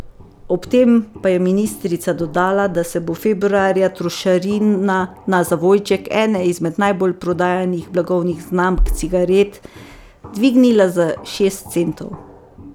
Ob tem pa je ministrica dodala, da se bo februarja trošarina na zavojček ene izmed najbolj prodajanih blagovnih znamk cigaret, dvignila za šest centov.